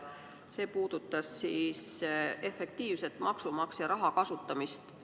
See puudutas efektiivset maksumaksja raha kasutamist.